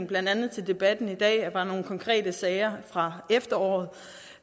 blandt andet debatten i dag var nogle konkrete sager fra efteråret